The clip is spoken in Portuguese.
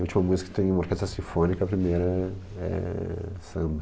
A última música tem uma orquestra sinfônica, a primeira é, é samba.